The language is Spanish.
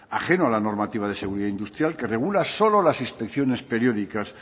ajeno a la normativa de seguridad industrial que regula solo las inspecciones periódicas